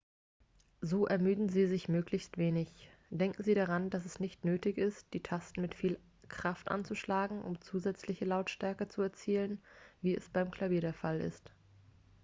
so ermüden sie sich möglichst wenig denken sie daran dass es nicht nötig ist die tasten mit viel kraft anzuschlagen um zusätzliche lautstärke zu erzielen wie es beim klavier der fall ist